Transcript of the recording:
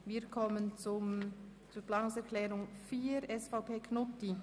Wir kommen zur Planungserklärung 4 der SVP von Grossrat Knutti.